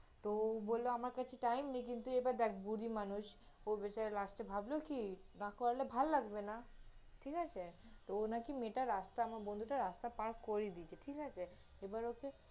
তহ ও বলল আমার কাছে time নেই, কিন্তু এবার দেখ বুড়ি মানুষ, ও বেচারা last এ ভাবল কি, না করালে ভাল লাগবে না, ঠিক আছে? তহ ও নাকি মেয়েটা রাস্তা, আমার বন্ধুটা রাস্তা পার করিয়ে দিয়েছে, ঠিক আছে? তহ এবার ওকে